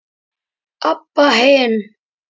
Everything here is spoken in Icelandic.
Abba hin.